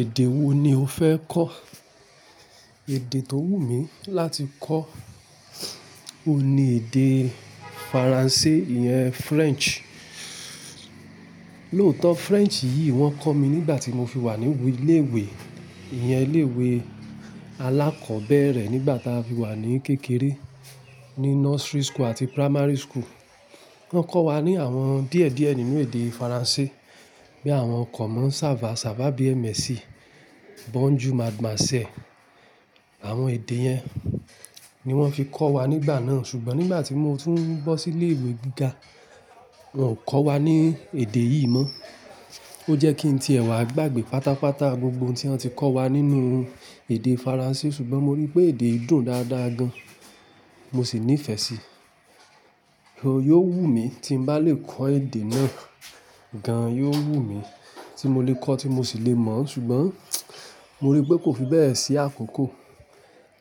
Èdè wo ni o fẹ́ kọ́? Èdè tó wù mí láti kọ́, o ni èdè Faransé, ìyẹn French. Lóòótọ́ French yìí wọ́n kọ́ mi nígbà tí mo fi wà ní ilé ìwé, ìyẹn ilé ìwé alákọ̀ọ́bẹ̀rẹ̀ nígbà tá a fi wà ní kékeré, ní nursery school àti primary school. Wọ́n kọ́ wa ní àwọn díẹ̀díẹ̀ nínú èdè Faransé, bí àwọn ọkọ̀ máa ń sábà, sábà bí embassy, bonjour mademaiselle. Àwọn èdè yẹn ni wọ́n fi kọ́ wa nígbà náà. Ṣùgbọ́n nígbà tí mo tún bọ́ sí ilé ìwé gíga, wọn kò kọ́ wa ní èdè yìí mọ́. Ó jẹ́ kí n ti ẹwà gbàgbé pátápátá gbogbo ohun tí wọ́n ti kọ́ wa nínú èdè Faransé. Ṣùgbọ́n mo rí i pé èdè yìí dùn dáadáa gan, mo sì nífẹ̀ẹ́ síi. Ó yóò wù mí tí n bá lè kọ́ èdè náà gan, yóò wù mí tí mo lè kọ́, tí mo sì lè mọ̀ ọ́n. Ṣùgbọ́n mo rí i pé kò fi bẹ́ẹ̀ sí àkókò.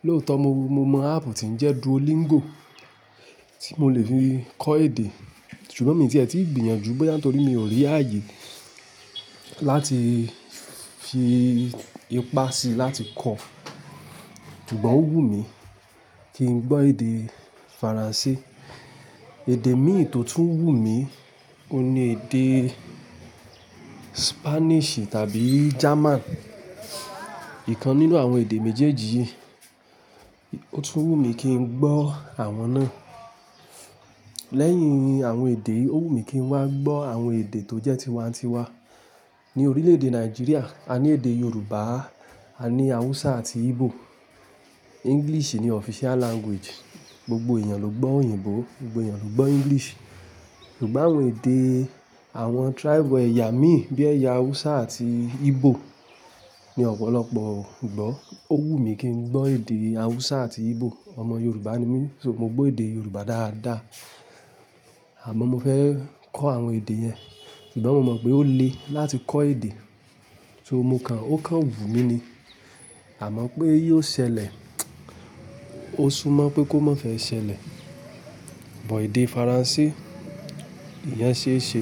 Lóòótọ́ mo mọ áàpù tí ń jẹ́ duolingo tí mo lè fi kọ́ èdè. Ṣùgbọ́n mi tiẹ̀ tí gbìyànjú bẹ́ẹ̀ nítorí mi ò rí ààyè láti fi ipá si láti kọ́. Ṣùgbọ́n ó wù mí kí n gbọ́ èdè Faransé. Èdè míì tó tún wù mí, òun ni èdè Spanish tàbí German. Ìkan nínú àwọn èdè méjèèjì yìí, ó tún wù mí kí n gbọ́ àwọn náà. Lẹ́yìn àwọn èdè, ó wù mí kí n wá gbọ́ àwọn èdè tó jẹ́ tiwańtiwa. Ní orílẹ̀-èdè Nàìjíríà, a ní èdè Yorùbá, a ní Hausa àti Igbo. English ni official language. Gbogbo èèyàn ló gbọ́ òyìnbó, gbogbo èèyàn ló gbọ́ English. Ṣùgbọ́n àwọn èdè àwọn tribe ẹ̀yà mí bí ẹ̀yà Hausa àti Igbo ni ọ̀pọ̀lọpọ̀ ò gbọ́. Ó wù mí kí n gbọ́ èdè Hausa àti Igbo. Ọmọ Yorùbá ni mí, só mo gbọ́ èdè Yorùbá dáadáa. Àmọ́ mo fẹ́ kọ́ àwọn èdè yẹn. Ṣùgbọ́n mo mọ̀ pé ó le láti kọ́ èdè. So mo kàn. Ó kan wù mí ni, àmọ́ pé yóò ṣẹlẹ̀, ó súnmọ́ pé kó má fẹ́ ṣẹlẹ̀. But èdè Faransé, ìyẹn ṣéṣe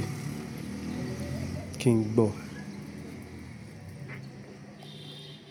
kí n gbọ́.